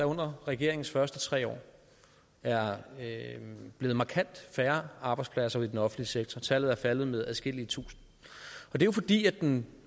under regeringens første tre år er blevet markant færre arbejdspladser i den offentlige sektor tallet er faldet med adskillige tusinde og det er fordi den